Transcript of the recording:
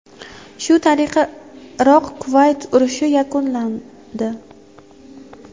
Shu tariqa Iroq – Kuvayt urushi yakunlandi.